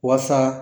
Walasa